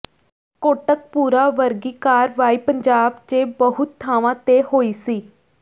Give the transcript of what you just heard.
ਕੋਟਕਪੂਰਾ ਵਰਗੀ ਕਾਰਵਾਈ ਪੰਜਾਬ ਚ ਬਹੁਤ ਥਾਵਾਂ ਤੇ ਹੋਈ ਸੀ